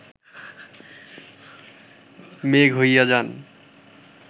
মেঘ হইয়া যান